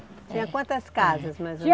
Tinha quantas casas mais ou... Tinha